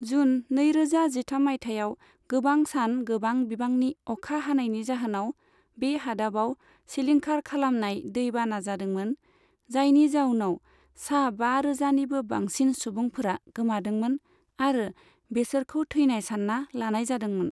जुन नैरोजा जिथाम मायथाइयाव गोबां सान गोबां बिबांनि अखा हानायनि जाहोनाव बे हादाबाव सिलिंखार खालामनाय दै बाना जादोंमोन, जायनि जाउनाव सा बारोजा निबो बांसिन सुबुंफोरा गोमादोंमोन आरो बेसोरखौ थैनाय सानना लानाय जादोंमोन।